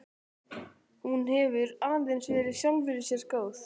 Hún hefur aðeins verið sjálfri sér góð.